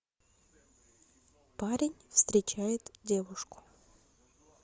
парень встречает девушку